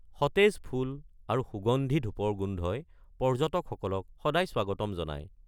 সতেজ ফুল আৰু সুগন্ধি ধূপৰ গোন্ধই পৰ্য্যটক সকলক সদায় স্বাগতম জনায়।